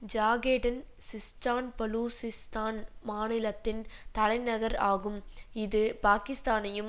Zahedan Sistan Baluchistan மாநிலத்தின் தலைநகர் ஆகும் இது பாகிஸ்தானையும்